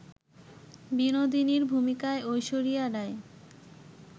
বিনোদিনীর ভূমিকায় ঐশ্বরিয়া রাই